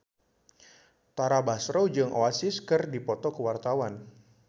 Tara Basro jeung Oasis keur dipoto ku wartawan